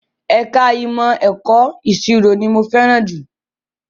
Ẹ̀ka ìmọ̀ ẹ̀kọ́ ìṣirò owó ni mo fẹ́ràn jù